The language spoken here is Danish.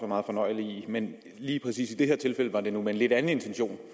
meget fornøjeligt i men lige præcis i det her tilfælde var det nu med en lidt anden intention